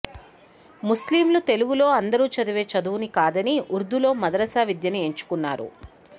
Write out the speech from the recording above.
ముస్లింలు తెలుగులో అందరూ చదివే చదువుని కాదని ఉర్దూలో మదరసా విద్యని ఎంచుకున్నారు